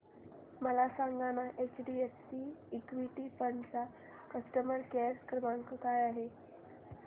मला सांगाना HDFC equity fund चा कस्टमर केअर क्रमांक काय आहे